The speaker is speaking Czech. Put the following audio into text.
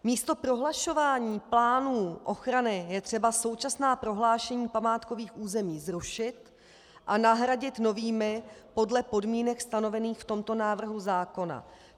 Místo prohlašování plánů ochrany je třeba současná prohlášení památkových území zrušit a nahradit novými podle podmínek stanovených v tomto návrhu zákona.